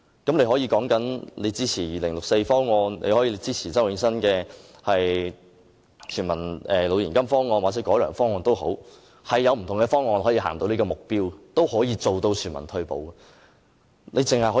你可以說支持2064方案，也可以支持周永新的全民老年金方案或改良方案，是有不同的方案可以達致全民退休保障這目標的。